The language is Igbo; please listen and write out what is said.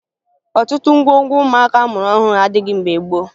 Ọtụtụ ngwongwo ụmụaka a mụrụ ọhụrụ adịghị mgbe gboo